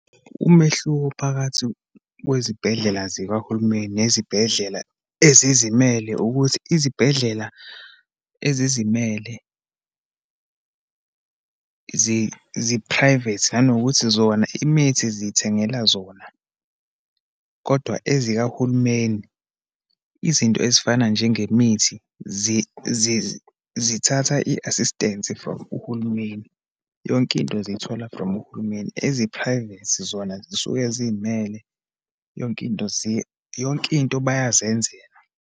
Umehluko phakathi kwezibhedlela zikahulumeni nezibhedlela ezizimele, ukuthi izibhedlela ezizimele, zi-private, nanokuthi zona, imithi ziyithengela zona. Kodwa ezikahulumeni, izinto ezifana njengemithi, zithatha i-assistance from uhulumeni. Yonke into ziyithola from uhulumeni. Ezi-private zona, zisuke ziyimele. Yonke into yonke into bayazenzela.